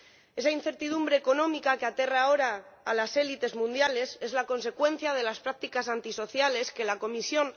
Esa incertidumbre económica que aterra ahora a las élites mundiales es la consecuencia de las prácticas antisociales que alienta la Comisión.